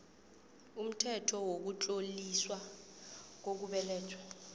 umthetho wokutloliswa kokubelethwa